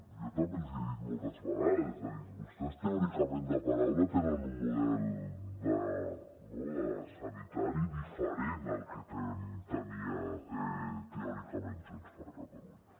jo també els hi he dit moltes vegades és a dir vostès teòricament de paraula tenen un model sanitari diferent del que tenia teòricament junts per catalunya